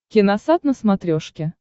киносат на смотрешке